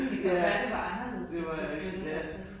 Ja, det var en, ja